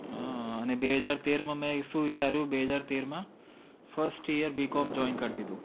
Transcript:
હાં અને બે હજાર તેરમાં મેં શું વિચાર્યું બે હજાર તેરમાં first yearBCOMJoin કરી દીધું.